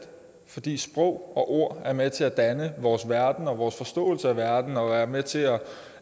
fordi sprog og ord er med til at danne vores verden og vores forståelse af verden og er med til at